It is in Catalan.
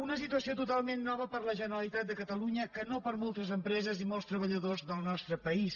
una situació totalment nova per a la generalitat de catalunya que no per a moltes empreses i molts treballadors del nostre país